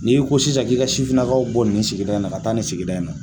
N'i ko sisan k'i ka sufinnakaw bɔ nin sigida in na ka taa nin sigida in na